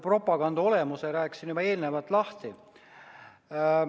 Propaganda olemuse rääkisin ma juba eelnevalt lahti.